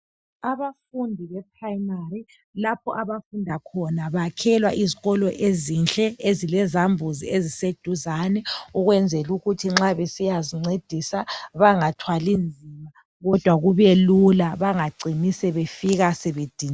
Abafundi be primary lapho abafunda khona bakhelwa izikolo ezinhle ezilezambuzi eziseduzane ukwenzelukuthi nxa besiyazincedisa bangathwali nzima kodwa kubelula bangacini sebefika sebediniwe.